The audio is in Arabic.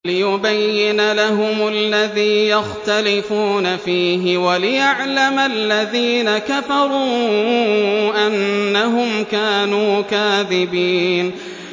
لِيُبَيِّنَ لَهُمُ الَّذِي يَخْتَلِفُونَ فِيهِ وَلِيَعْلَمَ الَّذِينَ كَفَرُوا أَنَّهُمْ كَانُوا كَاذِبِينَ